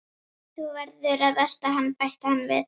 Þú verður að elta hann bætti hann við.